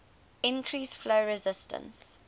increase flow resistance